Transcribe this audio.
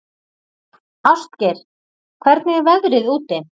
Ástgeir, hvernig er veðrið úti?